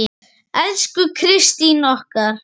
Elsku Kristín okkar.